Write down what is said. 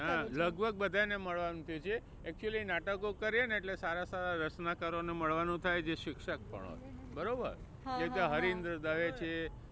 હા લગબઘ બધાને મળવાનું થયું છે. Actually નાટકો કરીએ ને એટલે સારા સારા રત્નકરો ને મળવાનું થાય જે શિક્ષક પણ હોય બરોબર, જેમકે હરીન્દ્ર દવે છે.